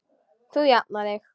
Þú jafnar þig.